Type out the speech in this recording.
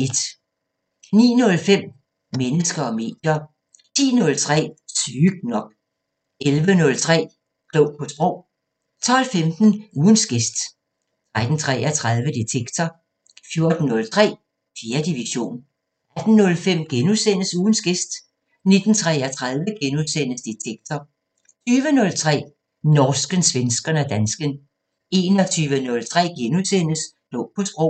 09:05: Mennesker og medier 10:03: Sygt nok 11:03: Klog på Sprog 12:15: Ugens gæst 13:33: Detektor 14:03: 4. division 18:05: Ugens gæst * 19:33: Detektor * 20:03: Norsken, svensken og dansken 21:03: Klog på Sprog *